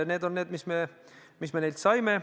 Need on ettepanekud, mis me neilt saime.